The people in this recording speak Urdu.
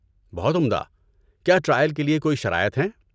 بہت عمدہ! کیا ٹرائل کے لیے کوئی شرائط ہیں؟